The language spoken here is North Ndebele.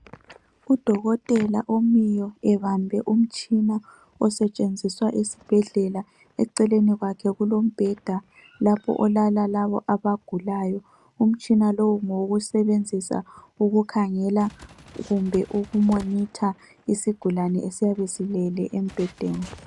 Udokotela omiyo ebambe umtshina osetshenziswa esibhedlela, eceleni kwakhe kulombheda lapho olala labo abagulayo. Umtshina lowu ngowokusebenzisa ukukhangela kumbe ukumonitor isigulane esiyabe silele embhedeni.